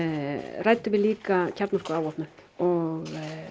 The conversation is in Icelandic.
ræddum við líka kjarnorkuafvopnun og